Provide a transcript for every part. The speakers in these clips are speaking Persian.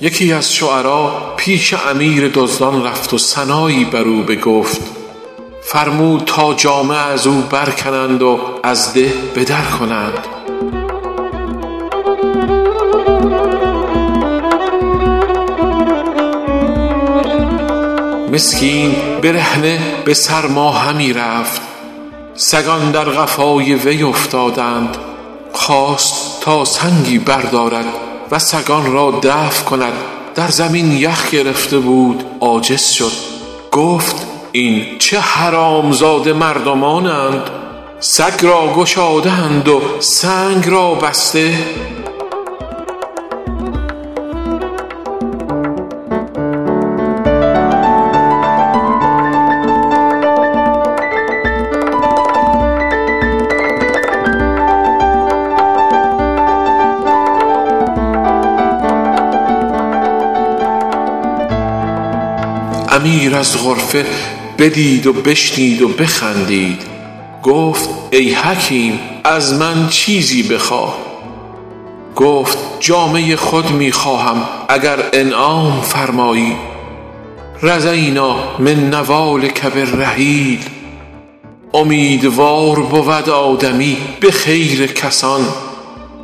یکی از شعرا پیش امیر دزدان رفت و ثنایی بر او بگفت فرمود تا جامه از او برکنند و از ده به در کنند مسکین برهنه به سرما همی رفت سگان در قفای وی افتادند خواست تا سنگی بردارد و سگان را دفع کند در زمین یخ گرفته بود عاجز شد گفت این چه حرامزاده مردمانند سگ را گشاده اند و سنگ را بسته امیر از غرفه بدید و بشنید و بخندید گفت ای حکیم از من چیزی بخواه گفت جامه خود می خواهم اگر انعام فرمایی رضینٰا من نوالک بالرحیل امیدوار بود آدمی به خیر کسان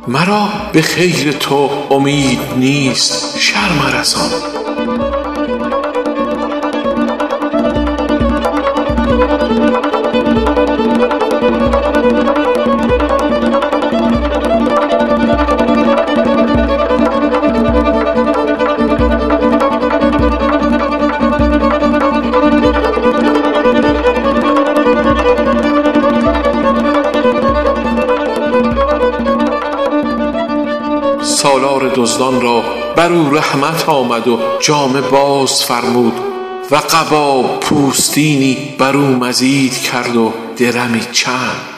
مرا به خیر تو امید نیست شر مرسان سالار دزدان را بر او رحمت آمد و جامه باز فرمود و قبا پوستینی بر او مزید کرد و درمی چند